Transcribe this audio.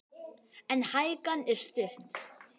En hækan er stutt.